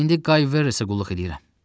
İndi Qay Verresə qulluq eləyirəm.